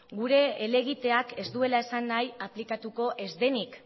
gure helegiteak ez duela esan nahi aplikatuko ez denik